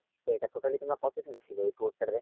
তো এটা totally তোমরা কতদিন ছিলে ওই tourটাতে?